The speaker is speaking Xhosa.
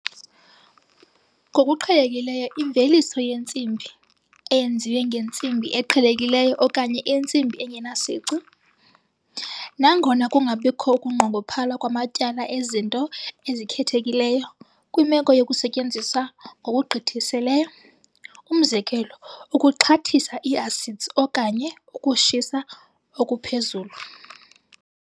Ngokuqhelekileyo imveliso yensimbi, eyenziwe ngentsimbi eqhelekileyo okanye insimbi engenasici, nangona kungabikho ukunqongophala kwamatyala ezinto ezikhethekileyo kwimeko yokusetyenziswa ngokugqithiseleyo, umzekelo ukuxhathisa i-acids okanye ukushisa okuphezulu.